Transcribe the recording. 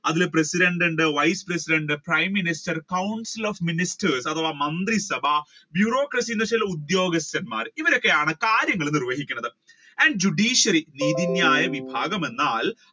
അതിൽ President ഉണ്ട് Vice president, prime minister, council of minister അഥവാ മന്ത്രിസഭ bureaucracy എന്ന് വച്ചാൽ ഉദ്യോഗസ്ഥന്മാർ ഇവരൊക്കെയാണ് കാര്യങ്ങൾ ഒക്കെ നിർവഹിക്കുന്നത് നീതി ന്യായ വിഭാഗമെന്ന്